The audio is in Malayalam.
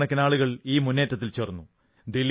കോടിക്കണക്കിനാളുകൾ ഈ മുന്നേറ്റത്തിൽ ചേർന്നു